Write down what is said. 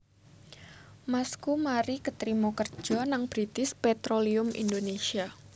Masku mari ketrima kerjo nang British Petroleum Indonesia